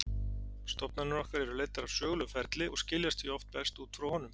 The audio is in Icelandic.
Stofnanir okkar eru leiddar af sögulegum ferli og skiljast því oft best út frá honum.